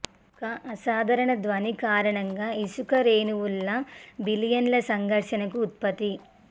ఒక అసాధారణ ధ్వని కారణంగా ఇసుక రేణువుల్లా బిల్లియన్ల సంఘర్షణకు ఉత్పత్తి